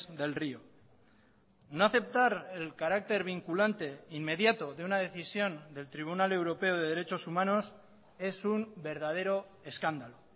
del río no aceptar el carácter vinculante inmediato de una decisión del tribunal europeo de derechos humanos es un verdadero escándalo